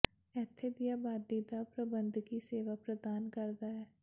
ਇੱਥੇ ਦੀ ਆਬਾਦੀ ਦਾ ਪ੍ਰਬੰਧਕੀ ਸੇਵਾ ਪ੍ਰਦਾਨ ਕਰਦਾ ਹੈ